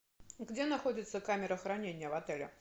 где находится камера хранения в отеле